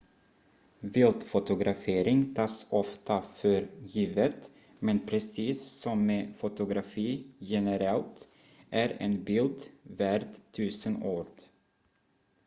viltfotografering tas ofta för givet men precis som med fotografi generellt är en bild värd tusen ord